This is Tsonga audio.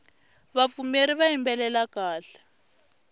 vapfumeri va yimbelela kahle